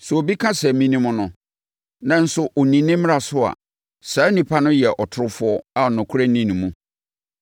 Sɛ obi ka sɛ, “Menim no”, nanso ɔnni ne mmara so a, saa onipa no yɛ ɔtorofoɔ a nokorɛ nni ne mu.